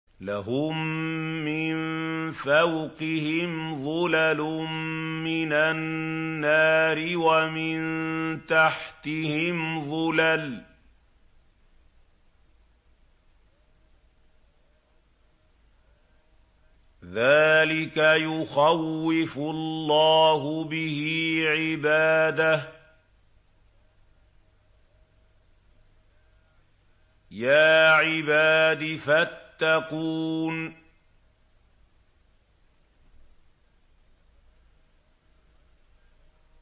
لَهُم مِّن فَوْقِهِمْ ظُلَلٌ مِّنَ النَّارِ وَمِن تَحْتِهِمْ ظُلَلٌ ۚ ذَٰلِكَ يُخَوِّفُ اللَّهُ بِهِ عِبَادَهُ ۚ يَا عِبَادِ فَاتَّقُونِ